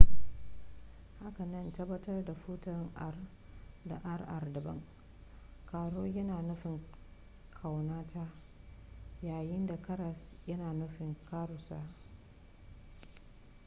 hakanan tabbatar da furta r da rr daban caro yana nufin ƙaunata yayin da karas yana nufin karusa